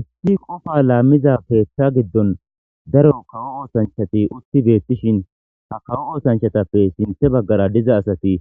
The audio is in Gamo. issi qofa laammiza keethta giddon daro kawo oosanchati utti beettishin ha kawo oosanchatappe sinthe baggara diza asati